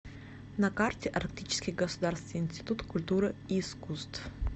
на карте арктический государственный институт культуры и искусств